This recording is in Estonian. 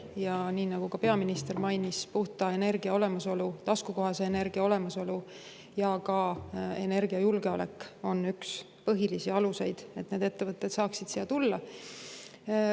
Ja nii nagu ka peaminister mainis, puhta energia olemasolu, taskukohase energia olemasolu ja energiajulgeolek on üks põhilisi aluseid, et ettevõtted saaksid siia tulla.